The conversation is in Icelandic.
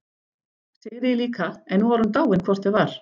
Sigríði líka, en nú var hún dáin hvort eð var.